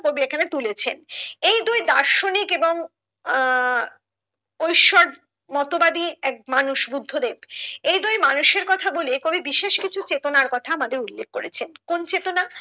কবি এখানে তুলেছেন এই দুই দার্শনিক এবং আহ ঐসোর মতবাদী এক মানুষ বুদ্ধ দেব এই দুই মানুষের কথা বলে কবি বিশেষ কিছু চেতনার কথা আমাদের উল্লেখ্য করেছেন কোন চেতনা